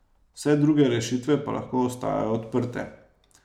Vse druge rešitve pa lahko ostajajo odprte.